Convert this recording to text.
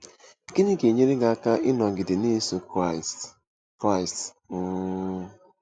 Gịnị Ga-enyere Gị Aka Ịnọgide Na-eso Kraịst? Kraịst? um